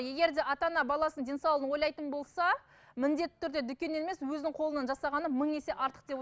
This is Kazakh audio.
егерде ата ана баласының денсаулығын ойлайтын болса міндетті түрде дүкеннен емес өзінің қолынан жасағаны мың есе артық деп